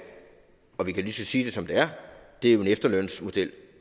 og vi kan lige så godt sige det som det er er en efterlønsmodel